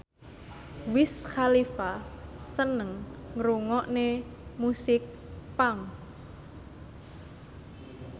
Wiz Khalifa seneng ngrungokne musik punk